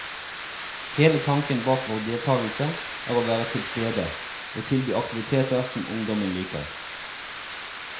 Hele tanken bak vår deltagelse er å være tilstede, og tilby aktiviteter som ungdommen liker.